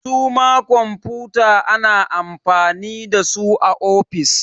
Su ma kwamfuta ana amfani da su a ofis